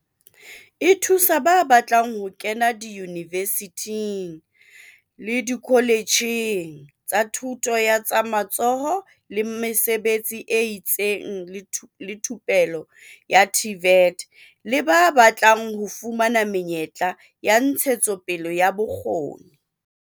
E thusa ba batlang ho kena diyunivesithing, dikoletjheng tsa Thuto ya tsa Matsoho le Mesebetsi e itseng le Thupello, TVET, le ba batlang ho fumana menyetla ya ntshetsopele ya bokgoni.